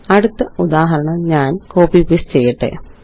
അടുത്ത ഉദാഹരണം ഞാന് കോപ്പി പേസ്റ്റ് ചെയ്യട്ടെ